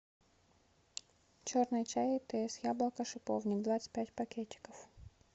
черный чай тесс яблоко шиповник двадцать пять пакетиков